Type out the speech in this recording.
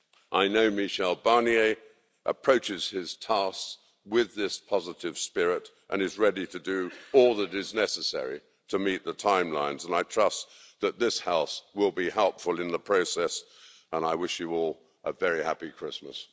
I know Michel Barnier approaches his task with this positive spirit and is ready to do all that is necessary to meet the timelines, and I trust that this House will be helpful in the process, and I wish you will a very happy Christmas.